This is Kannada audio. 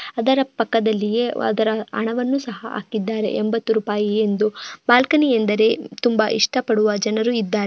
ಅದರ ಪಕ್ಕದಲ್ಲಿಯೇ ಅದರ ಹಣವನ್ನು ಸಹ ಹಾಕಿದ್ದಾರೆ ಎಂಬತ್ತು ರೂಪಾಯಿ ಎಂದು ಬಾಲ್ಕನಿ ಎಂದರೆ ತುಂಬಾ ಇಷ್ಟಪಡುವ ಜನರು ಇದ್ದಾರೆ.